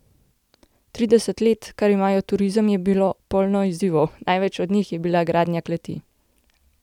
Trideset let, kar imajo turizem, je bilo polno izzivov, največji od njih je bila gradnja kleti.